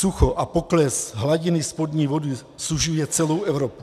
Sucho a pokles hladiny spodní vody sužuje celou Evropu.